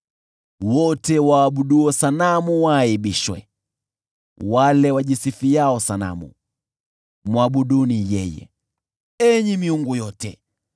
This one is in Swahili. Wote waabuduo sanamu waaibishwa, wale wajisifiao sanamu: mwabuduni yeye, enyi miungu yote!